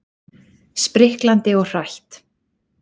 Spriklandi og hrætt.